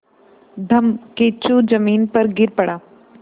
धम्मकिच्चू ज़मीन पर गिर पड़ा